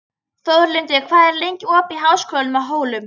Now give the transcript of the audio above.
Þórlindur, hvað er lengi opið í Háskólanum á Hólum?